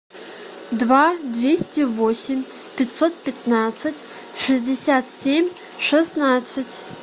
два двести восемь пятьсот пятнадцать шестьдесят семь шестнадцать